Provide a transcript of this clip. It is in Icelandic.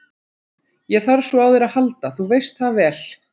Ég þarf svo á þér að halda, þú veist það vel.